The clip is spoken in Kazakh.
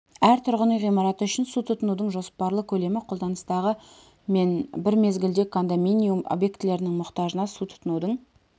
әр тұрғын үй ғимараты үшін су тұтынудың жоспарлы көлемі қолданыстағы мен бір мезгілде кондоминиум объектілерінің мұқтажына су тұтынудың